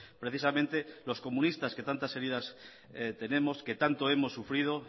precisamente los comunistas que tantas heridas tenemos que tanto hemos sufrido